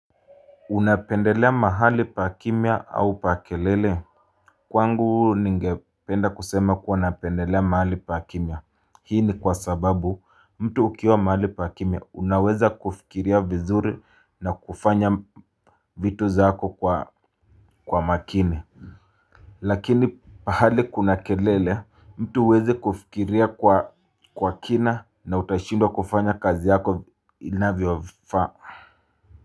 Unapendelea mahali pa kimya au pa kelele. Kwangu ningependa kusema kuwa napendelea mahali pa kimya. Hii ni kwa sababu mtu ukiwa mahali pa kimya unaweza kufikiria vizuri na kufanya vitu zako kwa makini. Lakini pahali kuna kelele mtu huwezi kufikiria kwa kina na utashindwa kufanya kazi yako inavyofaa. Kwa hiyo.